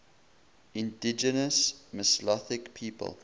indigenous mesolithic people